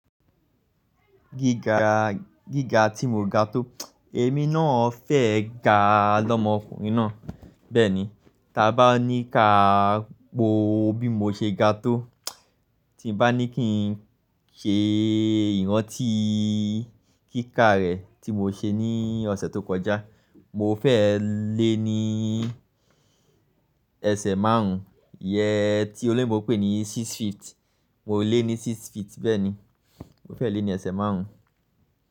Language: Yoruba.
Gíga, gíga tí mo ga tó, èmi náà fẹ́ ga lọmọ ọkùnrin náà. Bẹ́ẹ̀ni, ta bá ní ká po bí mo ṣe ga tó, tí bá ní kí n ṣe ìrántí kíkà rẹ̀ tí mo ṣe ní ọ̀sẹ̀ tó kọjá, mo fẹ́ lé ní ẹsẹ̀ márùn-ún yẹ tí óloyinbo n pè ní six feet. Mo lé ní six feet. Bẹ́ẹ̀ni, mo fẹ́ lé ní ẹsẹ̀ márùn-ún.